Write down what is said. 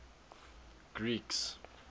greeks